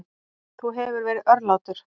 Þú hefur verið örlátur.